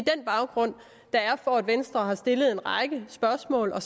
der er baggrunden for at venstre har stillet en række spørgsmål og